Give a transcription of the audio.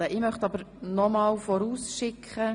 Ich möchte nochmals vorausschicken: